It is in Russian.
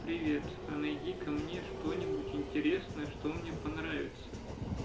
привет а найди-ка мне что-нибудь интересное что мне понравится